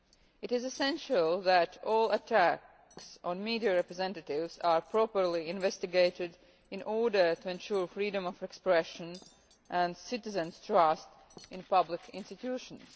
It is essential that all attacks on media representatives be properly investigated in order to ensure freedom of expression and citizens' trust in public institutions.